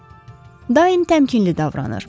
Daim təmkinli davranır.